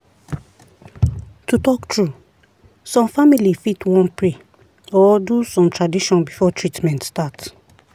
to talk true some family fit wan pray or do some tradition before treatment start.